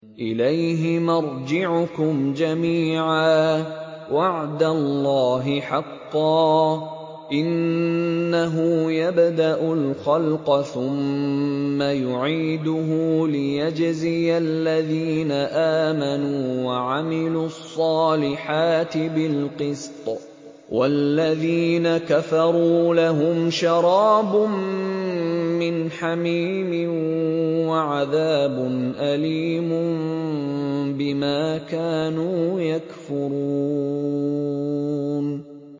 إِلَيْهِ مَرْجِعُكُمْ جَمِيعًا ۖ وَعْدَ اللَّهِ حَقًّا ۚ إِنَّهُ يَبْدَأُ الْخَلْقَ ثُمَّ يُعِيدُهُ لِيَجْزِيَ الَّذِينَ آمَنُوا وَعَمِلُوا الصَّالِحَاتِ بِالْقِسْطِ ۚ وَالَّذِينَ كَفَرُوا لَهُمْ شَرَابٌ مِّنْ حَمِيمٍ وَعَذَابٌ أَلِيمٌ بِمَا كَانُوا يَكْفُرُونَ